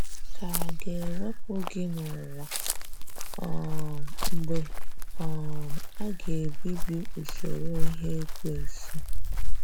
Ka à ga - ewepụ gị n’ụwa, um mgbe um a ga - ebibi usoro ihe Ekwensu?